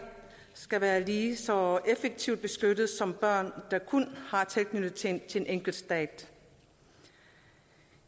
skal være lige så effektivt beskyttede som børn der kun har tilknytning til en enkelt stat